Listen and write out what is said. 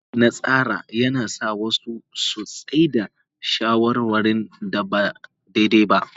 Matsi na tsara yana sa wasu su tsai da shawarwarin da ba daidai ba.